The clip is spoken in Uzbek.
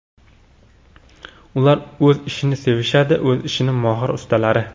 Ular o‘z ishini sevishadi, o‘z ishining mohir ustalari.